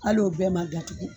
Al'o bɛɛ ma ga tugun.